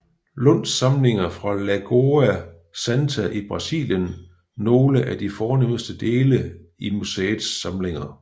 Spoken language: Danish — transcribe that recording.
Lunds samlinger fra Lagoa Santa i Brasilien nogle af de fornemste dele i museets samlinger